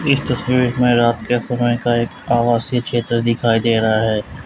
इस तस्वीर में रात के समय का एक आवासीय क्षेत्र दिखाई दे रहा है।